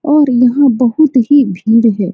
और यहाँ बहुत ही भीड़ है।